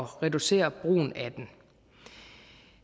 reducere brugen af den